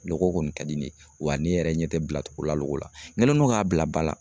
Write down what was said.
Loko kɔni ka di ne ye, wa ne yɛrɛ ɲɛ tɛ bila togola loko la, n kɛlen don k'a bila ba la.